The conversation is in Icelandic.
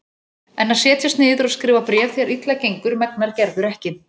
En að setjast niður og skrifa bréf þegar illa gengur megnar Gerður ekki.